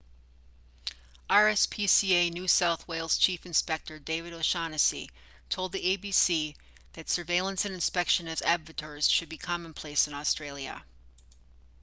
rspca new south wales chief inspector david o'shannessy told the abc that surveillance and inspections of abattoirs should be commonplace in australia